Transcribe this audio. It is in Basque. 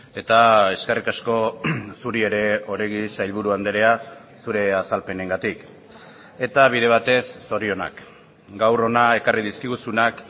eta eskerrik asko zuri ere oregi sailburu andrea zure azalpenengatik eta bide batez zorionak gaur hona ekarri dizkiguzunak